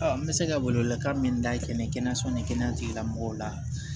n bɛ se ka welewelekan min dayɛlɛ kɛnɛyaso ni kɛnɛya tigilamɔgɔw la